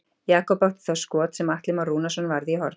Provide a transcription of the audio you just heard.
Jakob átti þá skot sem Atli Már Rúnarsson varði í horn.